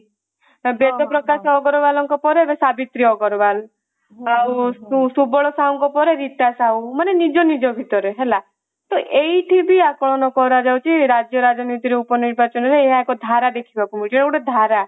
ବେଦପ୍ରକାଶ ଅଗ୍ରୱାଲଙ୍କ ପରେ ଏବେ ସାବିତ୍ରୀ ଅଗ୍ରୱାଲ ଆଉ ସୁବଳ ସାହୁଙ୍କ ପରେ ରୀତା ସାହୁ ମାନେ ନିଜ ନିଜ ଭିତରେ ହେଲା ତ ଏଇଠି ବି ଆକଳନ କର ଯାଉଛି ରାଜ୍ୟ ରାଜନୀତିରୁ ଉପ ନିର୍ବାଚନ ରେ ଏହାକୁ ଧାରା ଦେଖିବାକୁ ମିଳୁଛି ସେଟ ଗୋଟେ ଧାରା